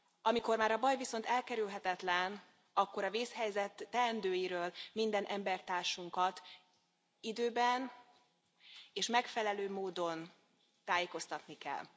Amikor már a baj viszont elkerülhetetlen, akkor a vészhelyzet teendőiről minden embertársunkat időben és megfelelő módon tájékoztatni kell.